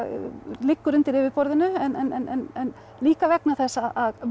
liggur undir yfirborðinu en líka vegna þess að